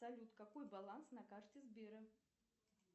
салют какой баланс на карте сбера